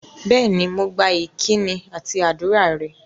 Bẹ́ẹ̀ni, mo gba ìkíni àti ádùrá rẹ̀